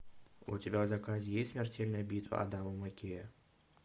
у тебя в заказе есть смертельная битва адама маккея